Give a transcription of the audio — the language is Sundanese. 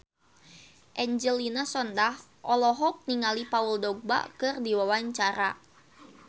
Angelina Sondakh olohok ningali Paul Dogba keur diwawancara